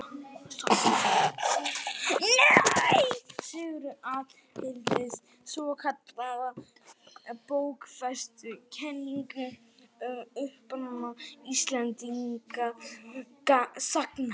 Sigurður aðhylltist svokallaða bókfestukenningu um uppruna Íslendinga sagna.